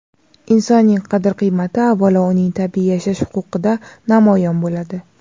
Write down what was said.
insonning qadr-qimmati avvalo uning tabiiy yashash huquqida namoyon bo‘ladi.